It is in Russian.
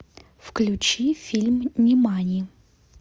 включи фильм нимани